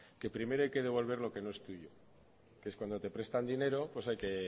que primero hay que devolver lo que no es tuyo que es cuando te prestan dinero pues hay que